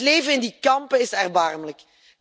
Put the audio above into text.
Het leven in die kampen is erbarmelijk.